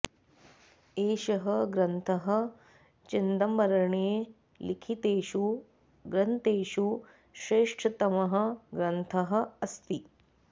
एषः ग्रन्थः चिदंबरेण लिखितेषु ग्रन्तेषु श्रेष्ठतमः ग्रन्थः अस्ति